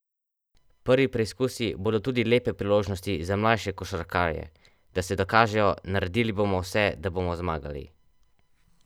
Prvi preizkusi bodo tudi lepe priložnosti za mlajše košarkarje, da se dokažejo: 'Naredili bomo vse, da bomo zmagali.